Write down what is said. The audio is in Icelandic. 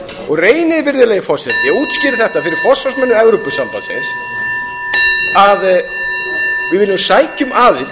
og reynið virðulegi forseti og útskýrið þetta fyrir forsvarsmönnum evrópusambandsins að við munum sækja um aðild